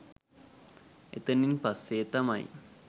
එතැනින් පස්‌සේ තමයි